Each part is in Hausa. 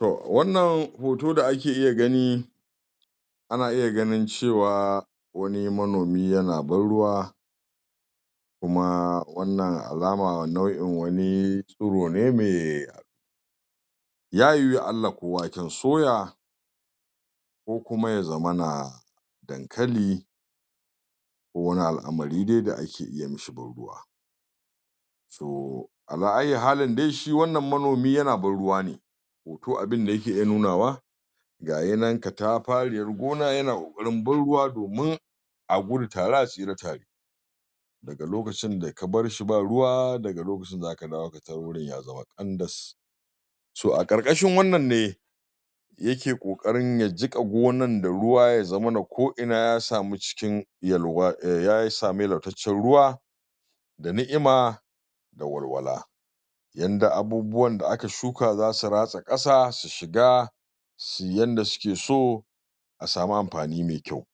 to wannan hoto da ake iya gani ana iya ganin cewa wani manomi yana ban ruwa kuma wanna alama nau`in wani tsuro ne mai ya yiwu la`ala ko waken soya ko kuma ya zamana dankali ko wani al`amari dai da ake iya mishi burbuwa to ala aiyi halin dai shi wannan manomi yana ban ruwa ne hoto abin dayake iya nuna wa gahi nan katafariyar gona yana kokarin ban ruwa domin a gudu tare a tsira tare daga lokacin da ka barshi ba ruwa daga lokacin zaka dawo ka tar gurin ya zama kandas to a karka shin wannan ne yake kokarin ya jika gonan da ruwa ya zaman ko ina ya samu cikin yalwa eh.. ya samu lautacen ruwa da ni`ima, da walwala. Yanda abubuwan da aka shuka za su rasa kasa su shiga su yi yanda suke so a samu anfani mai kyau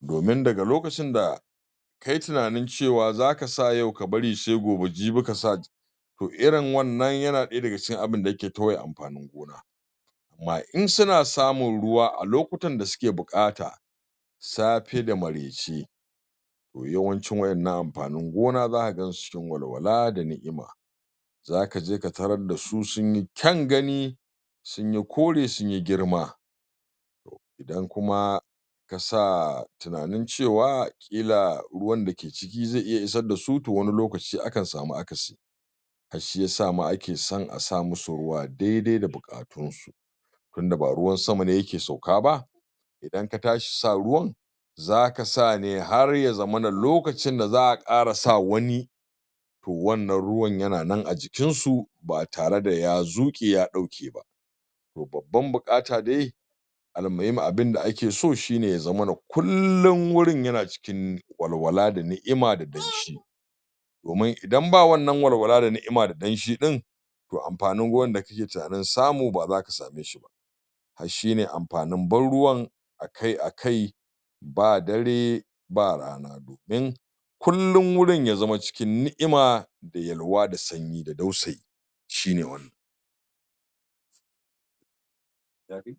domin daga lokacin da ka yi tunani cewa za ka sa yau ka bari sai gobe jibi kasa ta to irin wannan yana daya daga cikin abin da yake toye anfanin gona amma in suna samin ruwa a lokacin da suke bukata safe a maraici to yawanci waddan nan anfani gona zaka gan su cikin walwala da ni`ima za ka je ka tara da su sun yi kyan gani sun yi kore sun yi girma dan kuma kasa tuna nin cewa kila ruwa dake ciki zai iya isa da su to wani lokaci akan sami akasi shi yasa ma ake son a samusu ruwa daidai da bukatunsu tunda ba ruwan sama ne yake sauka ba idan ka tashi sa ruwan zaka sa ne har ya zamana lokacin da za a kara sa wani to wanna ruwan yana nan a jikinsu ba tare da ya zuke ya dauke ba to babban bukata dai almuhimu abin da ake so shine ya zamana kullum wurin yana cikin walwala da ni`ima da danshi domin idan ba walwala da ni`ima da danshi ɗin to anfani gona dake tuna nin samu ba zaka same shi ba a shine anfanin ban ruwan akai akai ba dare ba rana in kullun gurin ya zaman ciin ni`ima da yalwa da sanyi da ɗausayi shine wannan (yadai)